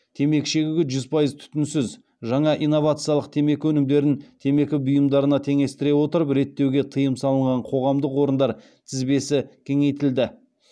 темекі шегуге жүз пайыз түтінсіз жаңа инновациялық темекі өнімдерін темекі бұйымдарына теңестіре отырып реттеуге тыйым салынған қоғамдық орындар тізбесі кеңейтілді